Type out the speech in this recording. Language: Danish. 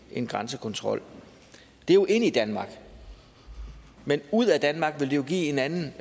en grænsekontrol det er jo ind i danmark men ud af danmark vil det give en anden